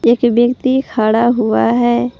एक व्यक्ति खड़ा हुआ है।